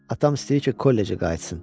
Atam istəyir ki, kollecə qayıtsın.